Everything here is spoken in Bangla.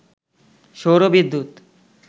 সৌর বিদ্যুৎ